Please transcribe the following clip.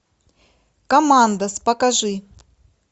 командос покажи